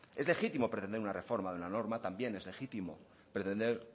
es legítimo pretender una reforma de la norma también es legítimo pretender